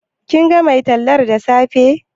Kin ga mai tallar da safe?